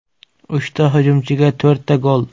Uchta hujumchiga to‘rtta gol?